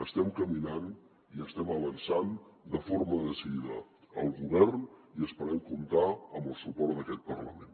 estem caminant i estem avançant de forma decidida el govern i esperem comptar amb el suport d’aquest parlament